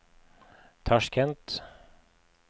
Tasjkent